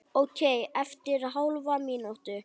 Ókei eftir hálfa mínútu.